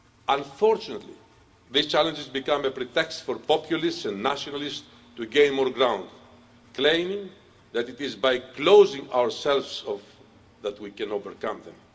Unfortunately, these challenges become a pretext for populists and nationalists to gain more ground, claiming that it is by closing ourselves off that we can overcome them.